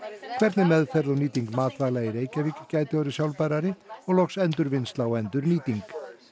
hvernig meðferð og nýting matvæla í Reykjavík gæti orðið sjálfbærari og loks endurvinnsla og endurnýting